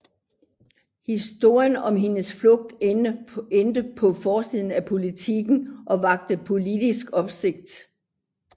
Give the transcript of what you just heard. Historien om hendes flugt endte på forsiden af Politiken og vakte politisk opsigt